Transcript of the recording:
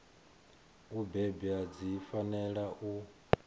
u bebwa dzi fanela u